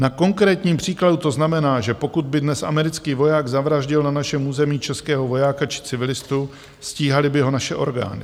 Na konkrétním příkladu to znamená, že pokud by dnes americký voják zavraždil na našem území českého vojáka či civilistu, stíhaly by ho naše orgány.